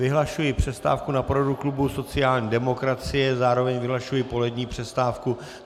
Vyhlašuji přestávku na poradu klubu sociální demokracie, zároveň vyhlašuji polední přestávku.